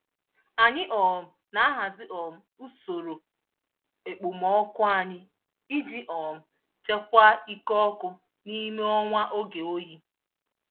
Anyị um na-ahazi um usoro ekpomọkụ anyị ijii um chekwaa ike ọkụ n'ime ọnwa oge oyi